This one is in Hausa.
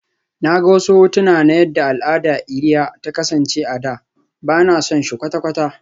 Na ga wasu hotuna na yadda al'adar iria ta kasance a da, ba na son shi kwata-kwata